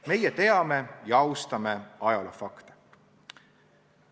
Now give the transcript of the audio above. Meie teame ja austame ajaloofakte.